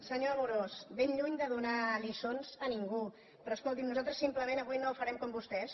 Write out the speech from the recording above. senyor amorós ben lluny de donar lliçons a ningú però escolti’m nosaltres simplement avui no farem com vostès